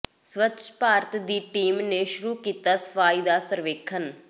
ਸਵੱਛ ਭਾਰਤ ਦੀ ਟੀਮ ਨੇ ਸ਼ੁਰੂ ਕੀਤਾ ਸਫਾਈ ਦਾ ਸਰਵੇਖਣ